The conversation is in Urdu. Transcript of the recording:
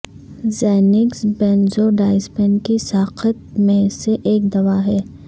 زینکس بینزوڈائزپین کی ساخت میں سے ایک دوا ہے